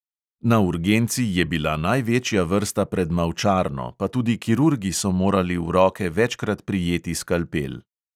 Na urgenci je bila največja vrsta pred mavčarno, pa tudi kirurgi so morali v roke večkrat prijeti skalpel.